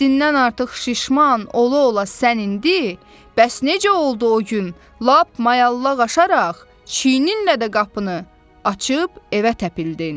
Həddindən artıq şişman ola-ola sən indi, bəs necə oldu o gün, lap mayallaq aşaraq, çiyninlə də qapını açıb evə təpildin?